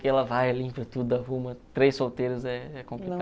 Que ela vai, limpa tudo, arruma, três solteiros é é